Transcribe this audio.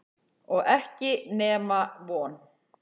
Og ekki nema von.